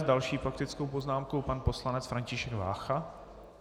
S další faktickou poznámkou pan poslanec František Vácha.